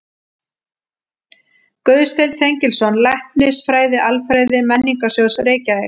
Guðsteinn Þengilsson, Læknisfræði-Alfræði Menningarsjóðs, Reykjavík